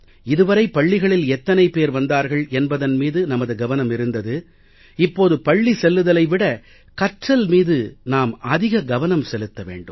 இது வரை பள்ளிகளில் எத்தனை பேர் வந்தார்கள் என்பதன் மீது நமது கவனம் இருந்தது இப்போது பள்ளி செல்லுதலை விட கற்றல் மீது நாம் அதிக கவனம் செலுத்த வேண்டும்